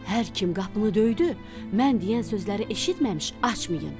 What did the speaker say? Hər kim qapını döydü, mən deyən sözləri eşitməmiş açmayın.